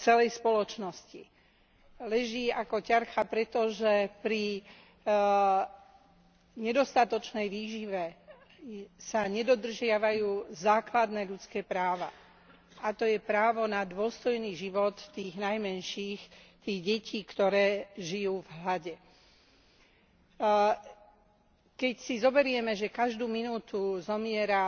celej spoločnosti. Leží ako ťarcha, pretože pri nedostatočnej výžive sa nedodržiavajú základné ľudské práva, a to je právo na dôstojný život tých najmenších, tých detí, ktoré žijú v hlade. Keď si zoberieme, že každú minútu zomiera